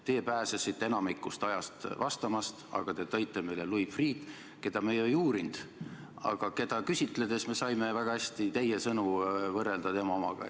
Teie pääsesite enamikul ajal vastamast, aga te tõite meile Louis Freeh', keda me ju ei uurinud, aga keda küsitledes me saime väga hästi teie sõnu võrrelda tema omadega.